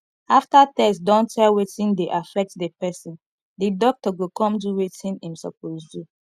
after tests don tell wetin dey affect di person di doctor go come do wetin im suppose do